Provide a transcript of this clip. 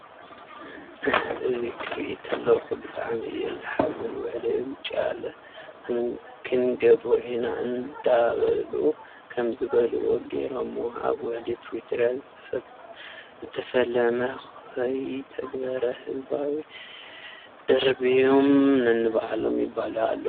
እህህህ ! እዙይ ክሪኢ እተለኩ ብጣዕሚ እየ ዝሓዝን ውዕለ ውጫለ ክንገብሮ ኢና እንዳበሉ ከም ዝበልዎ ገይረምዎ ኣብ ውዕሊ ፕሪቶርያ ዝተፈለመ ከይተተግበር ህዝቦም ደርብዮም ነንባዕሎም ይባልዑ ኣለው።